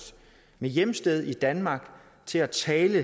med hjemsted i danmark til at tale